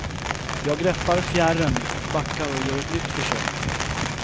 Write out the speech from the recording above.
Jag greppar fjärren och backar och gör ett nytt försök.